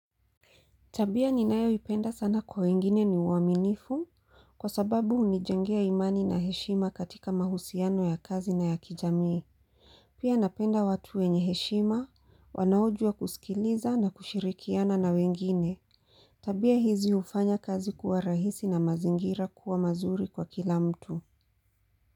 Tabia ni nayo ipenda sana kwa wengine ni uaminifu kwa sababu hunijengea imani na heshima katika mahusiano ya kazi na ya kijamii Pia napenda watu wenye heshima wanaojua kusikiliza na kushirikiana na wengine Tabia hizi hufanya kazi kuwa rahisi na mazingira kuwa mazuri kwa kila mtu.